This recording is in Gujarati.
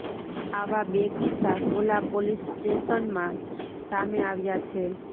આવા બે કિસ્સા સોલા પોલીસ સ્ટેશન માં સામે આવ્યા છે